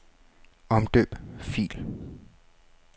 Omdøb fil.